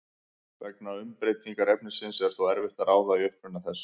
Vegna umbreytingar efnisins er þó erfitt að ráða í uppruna þess.